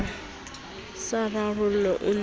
sa rarollwe o na le